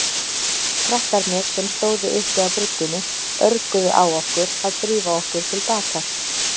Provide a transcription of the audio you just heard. Krakkarnir sem stóðu uppi á bryggjunni örguðu á okkur að drífa okkur til baka.